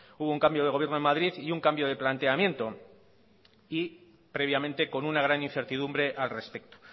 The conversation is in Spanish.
hubo un cambio de gobierno en madrid y un cambio de planteamiento y previamente con una gran incertidumbre al respecto